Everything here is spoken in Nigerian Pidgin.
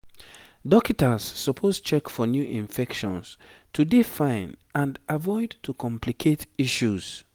dokita's suppose check for new infections to dey fine and avoid to complicate issues